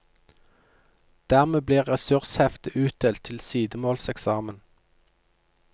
Dermed blir ressursheftet utdelt til sidemålseksamen.